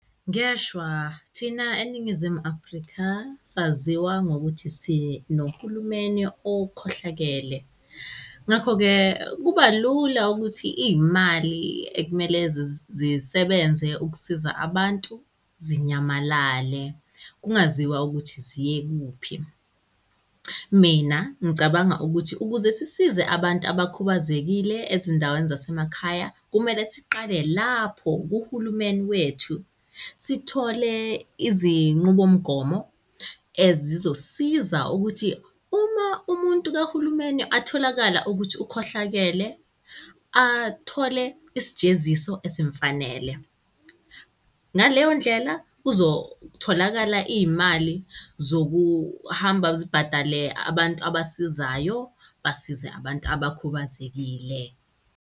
Ngeshwa thina eNingizimu Afrika saziwa ngokuthi sinohulumeni okhohlakele. Ngakho-ke kuba lula ukuthi iy'mali ekumele zisebenze ukusiza abantu zinyamalale, kungaziwa ukuthi ziye kuphi. Mina ngicabanga ukuthi ukuze sisize abantu abakhubazekile ezindaweni zasemakhaya kumele siqale lapho kuhulumeni wethu, sithole izinqubomgomo ezizosisiza ukuthi uma umuntu kahulumeni atholakala ukuthi ukhohlakele athole isijeziso esimfanele. Ngaleyo ndlela, kuzotholakala iy'mali zokuhamba zibhadale abantu abasizayo, basize abantu abakhubazekile.